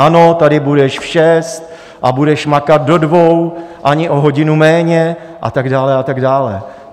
Ano, tady budeš v šest a budeš makat do dvou, ani o hodinu méně, a tak dále a tak dále.